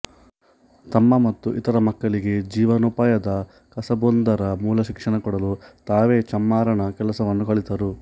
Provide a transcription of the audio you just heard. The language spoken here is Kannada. ತಮ್ಮ ಮತ್ತು ಇತರ ಮಕ್ಕಳಿಗೆ ಜೀವನೋಪಾಯದ ಕಸಬೊಂದರ ಮೂಲಶಿಕ್ಷಣ ಕೊಡಲು ತಾವೇ ಚಮ್ಮಾರನ ಕೆಲಸವನ್ನು ಕಲಿತರು